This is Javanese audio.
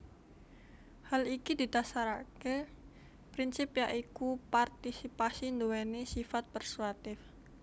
Hal iki didasaraké prinsip ya iku partisipasi nduwèni sifat persuatif